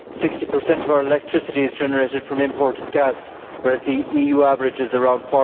Sixty per cent of our electricity is generated from imported gas, whereas the EU average is around